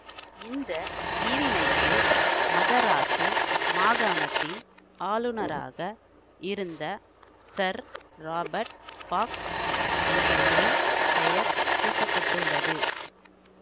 இந்த நீரிணைக்கு மதராசு மாகாணத்தின் ஆளுனராக இருந்த சர் இராபர்ட் பாக் என்பவரின் பெயர் சூட்ட பட்டுள்ளது